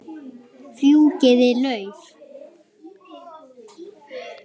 Fjúkiði lauf.